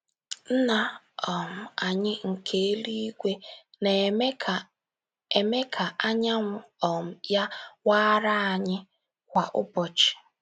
Nna um anyị nke eluigwe “ na - eme ka - eme ka anyanwụ um ya waara ” anyị kwa ụbọchị.